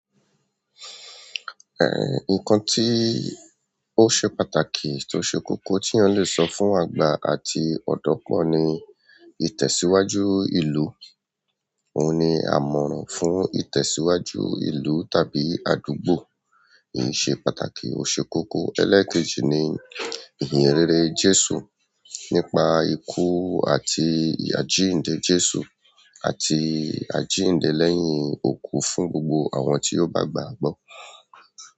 Eh, nǹkan tí ó ṣe pàtàkì tó ṣe kókó tí eyan le sọ fún àgbà àti ọ̀dọ́ pọ́ ni ìtẹ̀síwájú ìlú. Òun ni àmọ̀ràn fún ìtẹ̀síwájú ìlú tàbí àdúgbò. Kì í ṣe pàtàkì ó ṣe kókó. Ẹlẹẹkeji ni ìhìnrere Jésù nípa ikú àti àjíǹde Jésù àti àjíǹde lẹ́yìn òkú fún gbogbo àwọn tí yóò bá gbà á gbọ́.